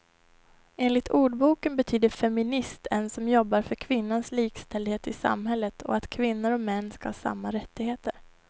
Enligt ordboken betyder feminist en som jobbar för kvinnans likställdhet i samhället och att kvinnor och män ska ha samma rättigheter.